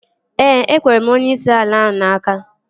Ee, ekwere m onyeisi ala ahụ n'aka